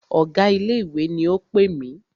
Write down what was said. Ọ̀gá ilé ìwé ni o pè mí.